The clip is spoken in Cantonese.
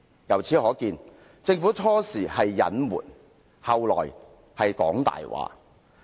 由此可見，政府最初是隱瞞，後來是說謊。